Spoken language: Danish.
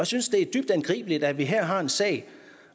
synes det er dybt angribeligt at vi her har en sag